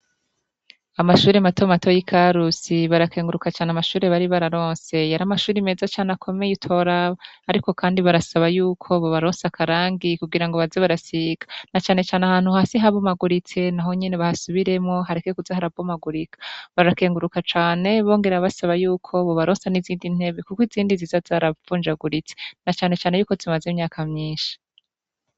amashuri matomato y'ikarusi barakenguruka cane amashuri bari bararonse yari amashuri meza cane akomeye utoraba, ariko kandi barasaba yuko bobaronsa akarangi kugira ngo baze barasiga na canecane ahantu hasi harumaguritse na honyene bahasubiremwo hareke kuza hara bomagurika, barakenguruka cane bongera basaba yuko bobaronsa n'izindi ntebe, kuko izindi nziza zaravunjaguritse na canecane yuko zimaze imyaka myinshi.